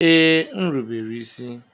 Ee, m rubere isi.